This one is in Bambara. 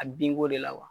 A binko de la wa